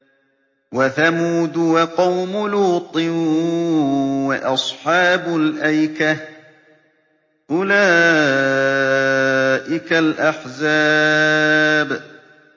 وَثَمُودُ وَقَوْمُ لُوطٍ وَأَصْحَابُ الْأَيْكَةِ ۚ أُولَٰئِكَ الْأَحْزَابُ